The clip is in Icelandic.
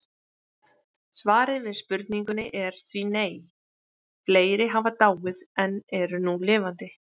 Svarið við spurningunni er því nei, fleiri hafa dáið en eru nú lifandi